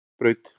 Hrísbraut